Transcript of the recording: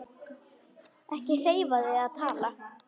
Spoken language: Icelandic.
Ekki hreyfa þig eða tala.